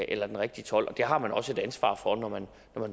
eller den rigtige told og det har man også et ansvar for når man